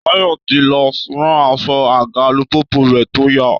Táyọ̀ ti lọ rán aṣọ àga alùpùpù rẹ̀ tó ya